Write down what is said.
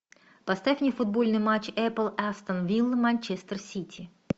поставь мне футбольный матч апл астон вилла манчестер сити